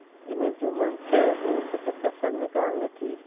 जिन्हें जुम्मन से अपनी कुछ कसर निकालनी थी